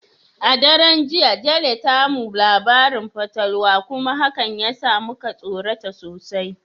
A daren jiya, Jane ta mu labarin fatalwa kuma hakan ya sa muka tsorata sosai.